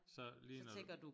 Så lige når du